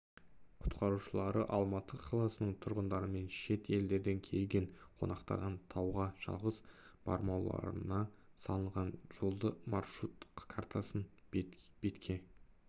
құтқарушылары алматы қаласының тұрғындарымен шет елдерден келген қонақтардан тауға жалғыз бармауларына салынған жолды маршрут картасын бетке